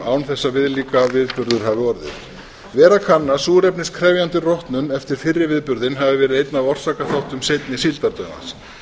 án þess að viðlíka viðburður hafi orðið vera kann að súrefniskrefjandi rotnun eftir fyrri viðburðinn hafi verið einn af orsakaþáttum seinni síldardauðans